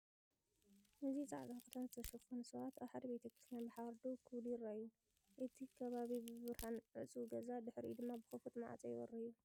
እዚ ጻዕዳ ክዳን ዝተሸፈኑ ሰባት ኣብ ሓደ ቤተክርስትያን ብሓባር ደው ክብሉ ይረኣዩ፤ እቲ ከባቢ ብብርሃን ዕጹው ገዛ ድሕሪኡ ድማ ብኽፉት ማዕጾ ይበርህ እዩ።